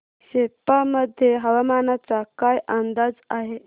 सेप्पा मध्ये हवामानाचा काय अंदाज आहे